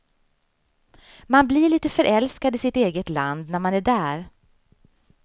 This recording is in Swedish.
Man blir litet förälskad i sitt eget land när man är där.